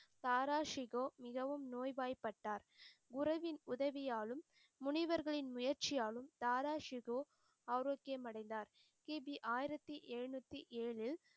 தாரா ஷிகோ மிகவும் நோய்வாய்ப்பட்டார். உறவின் உதவியாலும் முனிவர்களின் முயற்சியாலும் தாராஷிகோ ஆரோக்கியம் அடைந்தார். கி. பி ஆயிரத்தி எழுநூற்றி ஏழில்